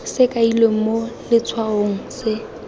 se kailweng mo letshwaong se